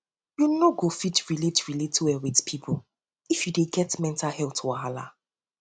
you no go fit relate relate well wit pipo if you dey get mental healt wahala